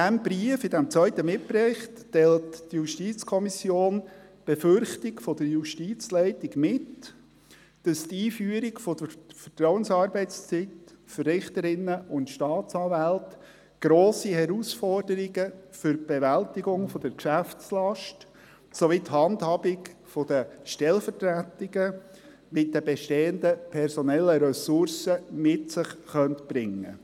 In diesem zweiten Mitbericht teilt die JuKo die Befürchtung der Justizleitung mit, dass die Einführung der Vertrauensarbeitszeit für Richterinnen und Staatsanwälte grosse Herausforderungen für die Bewältigung der Geschäftslast sowie für die Handhabung der Stellvertretungen mit den bestehenden personellen Ressourcen mit sich bringen könnte.